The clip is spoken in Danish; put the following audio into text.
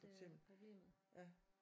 For eksempel